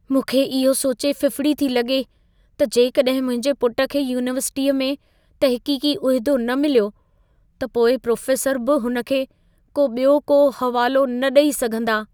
मूंखे इहो सोचे फिफिड़ी थी लॻे, त जेकॾहिं मुंहिंजे पुट खे यूनिवर्सिटीअ में तहक़ीक़ी उहिदो न मिलियो, त पोइ प्रोफ़ेसर बि हुन खे को ॿियो को हवालो न ॾई सघंदा।